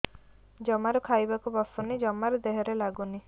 ଜମାରୁ ଖାଇବାକୁ ବସୁନି ଜମାରୁ ଦେହରେ ଲାଗୁନି